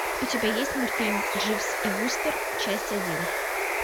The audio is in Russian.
у тебя есть мультфильм дживс и вустер часть один